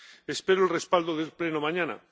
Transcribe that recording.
Espero el respaldo del Pleno mañana.